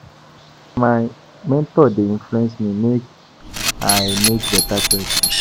Na my mentor dey influence me make I make beta choices.